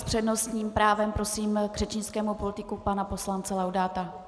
S přednostním právem prosím k řečnickému pultíku pana poslance Laudáta.